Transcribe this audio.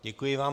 Děkuji vám.